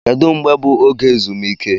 Kedu mgbe bụ oge ezumike?